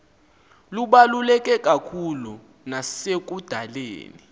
lubaluleke kakhulu nasekudaleni